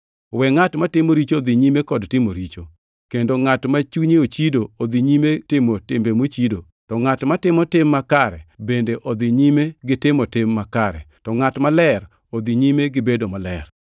We ngʼat matimo richo odhi nyime kod timo richo; kendo ngʼat ma chunye ochido odhi nyime timo timbe mochido; to ngʼat matimo tim makare bende odhi nyime gi timo tim makare, to ngʼat maler odhi nyime gibedo maler.”